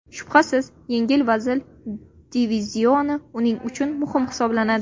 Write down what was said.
Shubhasiz, yengil vazn divizioni uning uchun muhim hisoblanadi.